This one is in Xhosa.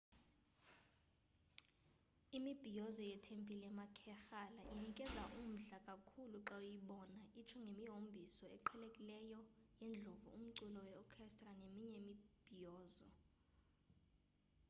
imibhiyozo yetempile yamakerala inikeza umdla kakhulu xa uyibona itsho ngemihombiso eqhelekileyo yeendlovu, umculo we orchestra neminye imibhiyozo